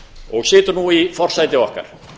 og situr nú í forsæti okkar